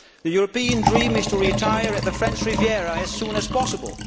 The European dream is to retire to the French Riviera as soon as possible.